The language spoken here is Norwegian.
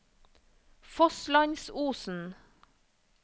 Fosslandsosen